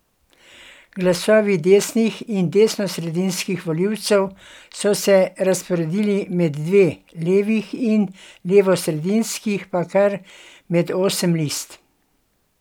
Glasovi desnih in desnosredinskih volilcev so se razporedili med dve, levih in levosredinskih pa kar med osem list.